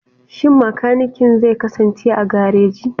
Shin makanikin zai kasance a gareji?